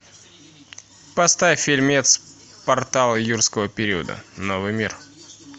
поставь фильмец портал юрского периода новый мир